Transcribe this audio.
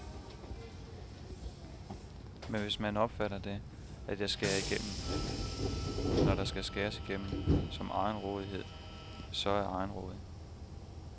Men hvis man opfatter det, at jeg skærer igennem, når der skal skæres igennem, som egenrådighed, så er jeg egenrådig.